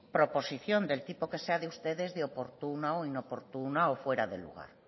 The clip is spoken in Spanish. proposición del tipo que sea de ustedes de oportuna o inoportuna o fuera de lugar